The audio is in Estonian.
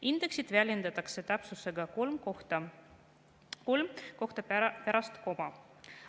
Indeksit väljendatakse täpsusega kolm kohta pärast koma.